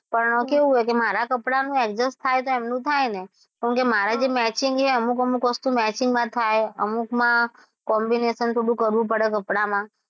પણ કેવું છે મારા કપડાં નું adjust થાય તો એમનું થાય ને કેમકે મારે જે matching છે અમુક -અમુક વસ્તુ matching માં થાય અમુકમાં combination થોડું કરવું પડે કપડામાં.